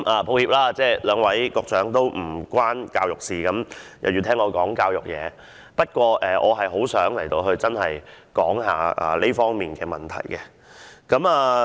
抱歉，在席兩位局長也與教育事務無關，卻要聆聽我就教育事宜發言，但我真的很想談談這方面的問題。